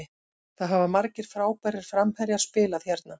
Það hafa margir frábærir framherjar spilað hérna.